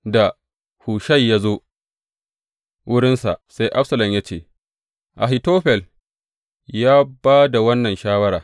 Da Hushai ya zo wurinsa, sai Absalom ya ce, Ahitofel ya ba da wannan shawara.